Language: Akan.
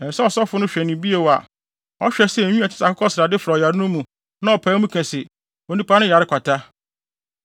ɛsɛ sɛ ɔsɔfo no hwɛ no bio a ɔhwɛ sɛ nwi a ɛte sɛ akokɔsrade fra ɔyare no mu na ɔpae mu ka se, onipa no yare kwata.